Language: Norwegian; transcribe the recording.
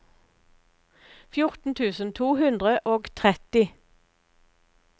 fjorten tusen to hundre og tretti